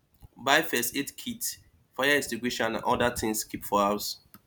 buy first aid kit fire extinguisher and oda things keep for house